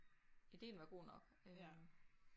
Ideen var god nok øh